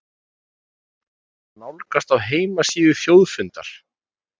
Niðurstöðurnar má nálgast á heimasíðu Þjóðfundar